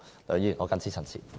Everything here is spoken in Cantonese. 梁議員，我謹此陳辭。